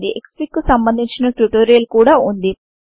Xfig కు సంబందించిన tutorial కూడా వుంది